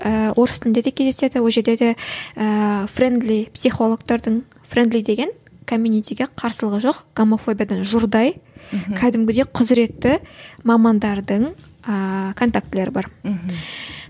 ііі орыс тілінде де кездеседі ол жерде де ііі френдли психологтардың френдли деген комьюнитиге қарсылығы жоқ гомофобиядан жұрдай кәдімгідей құзіретті мамандардың ааа контактілері бар мхм